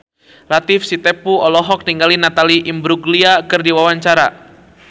Latief Sitepu olohok ningali Natalie Imbruglia keur diwawancara